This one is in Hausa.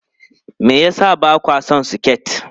Me yasa ba kwa son siket?